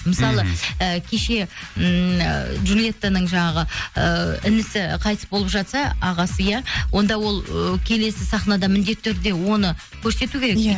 мысалы і кеше ммм джулиеттаның жаңағы ы інісі қайтыс болып жатса ағасы иә онда ол ы келесі сахнада міндетті түрде оны көрсету керек иә